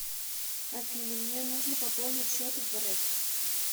афина мне нужно пополнить счет в рэск